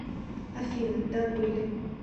афина да были